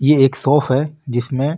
ये एक सॉप है जिसमे --